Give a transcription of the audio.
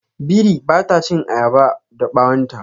Biri ba ta chin ayaba da bawon ta.